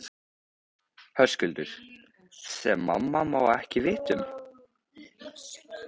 Höskuldur: Sem mamma má ekki vita um?